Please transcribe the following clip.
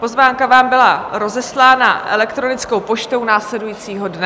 Pozvánka vám byla rozeslána elektronickou poštou následujícího dne.